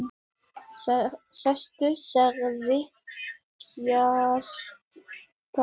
Sestu, sagði Kjartan.